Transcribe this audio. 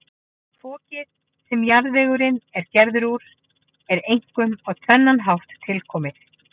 Fokið, sem jarðvegurinn er gerður úr, er einkum á tvennan hátt tilkomið.